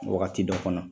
Wagati dɔ kɔnɔ